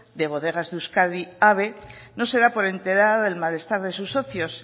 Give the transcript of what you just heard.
de bodegas de euskadi abe no se da por enterada del malestar de sus socios